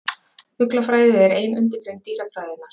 Fuglafræði er ein undirgrein dýrafræðinnar.